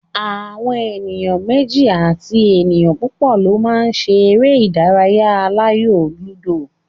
Àwọn èèyàn méjì àti ènìyàn púpò lo ma ṣe eré ìdárayá aláyò lúdò